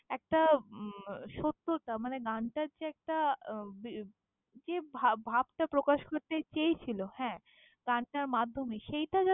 একটা উম সত্যতা মানে গানটার যে একটা যেভাব ভাবটা প্রকাশ করতে চেয়েছিল হ্যাঁ, গানটার মাধ্যমে।